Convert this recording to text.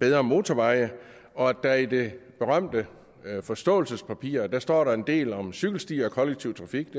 bedre motorveje og at der i det berømte forståelsespapir hvor der står en del om cykelstier og kollektiv trafik